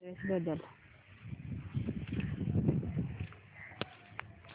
address बदल